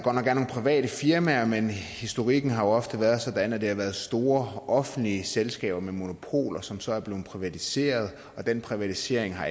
private firmaer men historikken har ofte været sådan at det har været store offentlige selskaber med monopoler som så er blevet privatiseret og den privatisering har